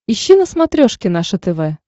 ищи на смотрешке наше тв